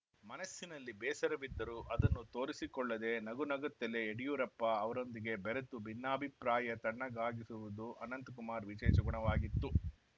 ಮನಸ್ಸಿನಲ್ಲಿ ಬೇಸರವಿದ್ದರೂ ಅದನ್ನು ತೋರಿಸಿಕೊಳ್ಳದೇ ನಗು ನಗುತ್ತಲೇ ಯಡಿಯೂರಪ್ಪ ಅವರೊಂದಿಗೆ ಬೆರೆತು ಭಿನ್ನಾಭಿಪ್ರಾಯ ತಣ್ಣಗಾಗಿಸುತ್ತಿದ್ದುದು ಅನಂತಕುಮಾರ್‌ ವಿಶೇಷ ಗುಣವಾಗಿತ್ತು